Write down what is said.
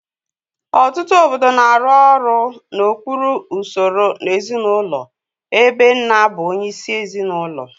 Ọtụtụ obodo na-arụ ọrụ n'okpuru usoro ezinụlọ ebe nna bụ onyeisi ezinụlọ